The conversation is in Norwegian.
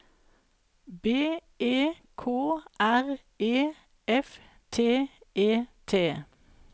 B E K R E F T E T